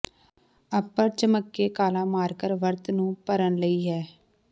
ਅਪਰ ਝਮੱਕੇ ਕਾਲਾ ਮਾਰਕਰ ਵਰਤ ਨੂੰ ਭਰਨ ਲਈ ਹੈ